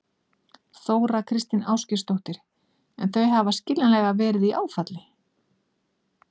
Þóra Kristín Ásgeirsdóttir: En þau hafa skiljanlega verið í áfalli?